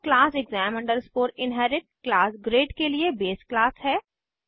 और class exam inherit class grade के लिए बेस क्लास है